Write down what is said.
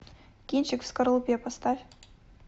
кинчик в скорлупе поставь